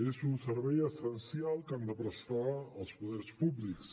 és un servei essencial que han de prestar els poders públics